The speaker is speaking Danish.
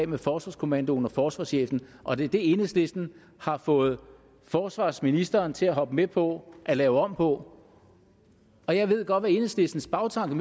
med forsvarskommandoen og forsvarschefen og det er det enhedslisten har fået forsvarsministeren til at hoppe med på at lave om på og jeg ved godt hvad enhedslistens bagtanke